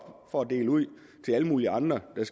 og dele ud til alle mulige andre der